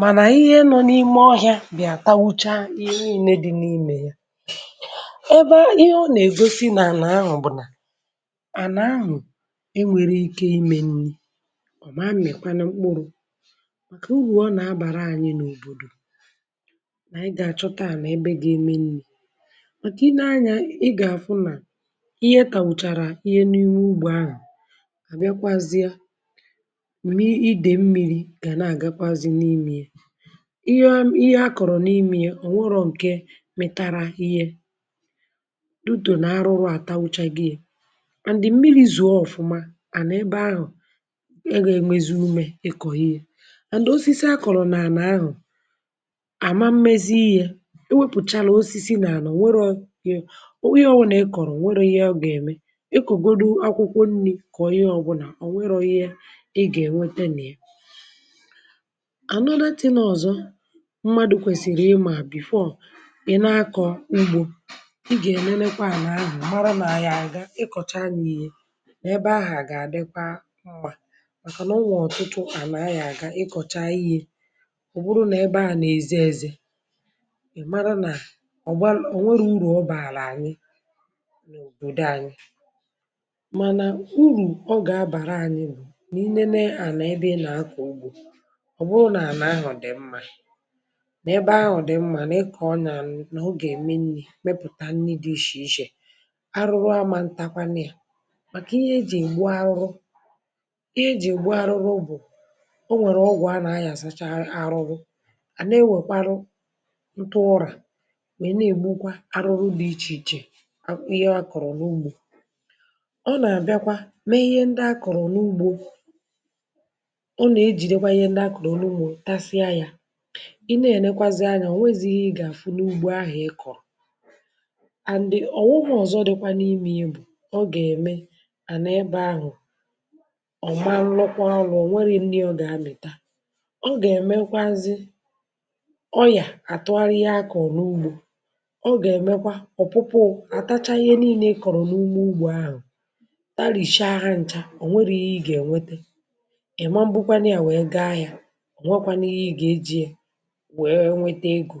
mànà ihe nọ n’ime ọhịa bị̀à tàwụcha ihe ninè dị̇ n’ime ya. Ebe ihe ọ nà-ègosi nà ànà ahụ̀ bụ̀ nà ànà ahụ̀ e nwèrè ike ime nni, ọ̀ ma m̀mikwanụ mkpụrụ maka uru ọ nà-abàra ànyị n’òbòdò nà anyị gà-àchọta ànà ebe ga-eme nni. Màkà ị nee anya ị gà-àfụ nà ihe tàwụ̀chàrà ihe n’ime ugbo ahụ̀, à bịakwazia ma iidè mmiri̇ gà nà-àgakwazị n’ime ya. Ihe a ihe akọ̀rọ̀ n’ime ya ọ̀ nwerọ ǹke mịtàrà ihe due to nà arụrụ àtawụchag'ye and mmiri̇ zòò ọ̀fụma ànà ebe ahụ̀ e y'enwezi ume ị kọ ihe and osisi akọ̀rọ̀ nà ànà ahụ̀ àma mmezi ihe e wepùchala osisi nà àna o nwerọ ihe ọbụ̀nà ị kọ̀rọ̀ ọ̀ nwerọ ihe ọ gà-ème. Ikọgodụ akwụkwọ nri kà onye ọbụnà ọ̀ nwerọ ihe ị gà-ènwete n'ya. another thing ọ̀zọ mmadụ kwèsìrì ịmà before ị na-akọ̀ ugbo ị gà-ènenekwa àna àhụ mara n’aya ga, ịkọ̀chaa ya ihe n’ebe ahù a gà-adịkwa mmà, màkàna o nwè ọ̀tụtụ àna aya gá ịkọ̀chaa ihe ọ bụrụ n’ebe ahù nà-èzé èzé ị mara nà ọ̀ um ọ nwere urù ọ bàrà anyị n’òbòdò anyị. Mana uru ọ ga-abara anyị bụ ị nenee ànà ebe ị ga-akọ ugbo ọ̀ bụrụ nà ànà ahụ̀ dị̀ mma n’ebe ahụ̀ dị̀ mma nà ị kọ̀ọ ya nà ọ ga-eme nri̇ mepụ̀ta nni̇ dị ishè ishè arụrụ ama ntakwanụ ya màkà ihe ejì ègbu arụrụ ihe ejì ègbu arụrụ bụ o nwèrè ọgwụ̀ a nà-ayàsacha arụrụ a nà-ewèkwaru ntụ ụrà wee nà-ègbukwa arụrụ dị̇ ichè ichè ihe a kọ̀rọ̀ n’ugbo. Ọ nà-àbịakwa mee ihe ndị a kọ̀rọ̀ n’ugbo ọ nà-ejidekwa ihe ndị a kọ̀rọ̀ n'ugbo tasia ya ị nee ènekwazi anya o nwezighi ihe ịgà-àfụ n’ugbo ahụ̀ ị kọ̀rọ̀. And ọ̀ghọm ọ̀zọ dịkwa n’ime ya bụ̀ ọ gà-ème ànà ebe ahụ̀ ọ̀ malụkwa ọlụ ọ̀ nweghi nni ọ gà-amị̀ta. Ọ gà-èmekwazị ọyà àtụgharịa ihe a kọ̀ọ n’ugbo, ọ gà-èmekwa ọ̀pụ̀pụ̀ụ àtachaa ihe niine i kọ̀rọ̀ n’ime ugbo ahụ̀ tarìchaa ha ncha ọ̀ nwerìghị ihe ị gà-ènwete ị mmanbukanụ ya wee gaa ahia ọ nweekwanụ ihe ị ga-ejie wee nwete ego